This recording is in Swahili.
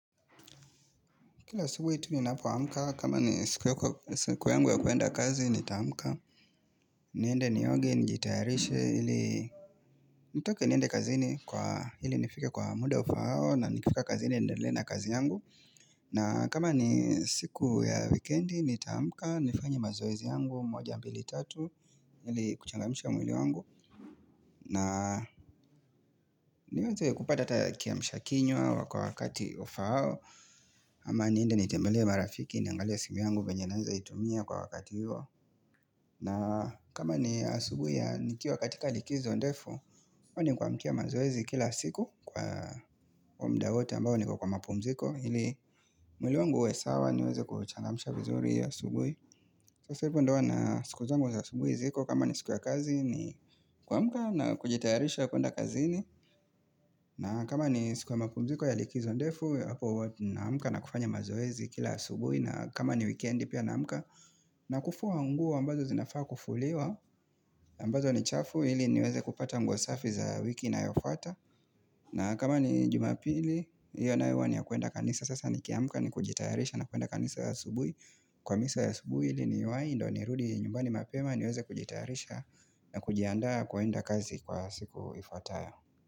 Kila siku hitu ni nafua amka, kama ni siku yangu ya kuenda kazi ni taamuka niende nioge njitayarishe, nitoke niende kazini kwa hili nifika kwa muda ufao na nikifika kazini neindela na kazi yangu na kama ni siku ya weekendi nitaamkka, nifanya mazoizi yangu, mwaja mpili tatu Nili kuchangamisha mwili wangu na niweze kupata kiamshakinywa wakawakati ufao ama niinde nitembele marafiki niangalea simiangu venye naniza itumia kwa wakati hiyo na kama ni asubu ya nikiwa katika likizo ndefu Oni kuamkia mazoezi kila siku kwa mda wote ambao nikwa kwa mapumziko Hili mwili wangu uwe sawa niweze kuchangamisha vizuri ya asubu Sasa ipu ndowa na siku zangu za asubu iziko kama ni siku ya kazi ni kwa mkia na kujitayarisha kuenda kazini na kama ni sikuwa makumziko ya likizo ndefu Hapo na amka na kufanya mazoezi kila subui na kama ni weekendi pia na amka na kufua nguo ambazo zinafaa kufuliwa ambazo ni chafu ili niweze kupata mguasafi za wiki inayofata na kama ni jumapili Iyo na iwa ni ya kuenda kanisa Sasa ni kiamka ni kujitayarisha na kuenda kanisa ya asulubui Kwa misa ya subui ili ni yuai Indo ni rudi nyumbani mapema niweze kujitayarisha na kujianda kuenda kazi kwa siku ifataya.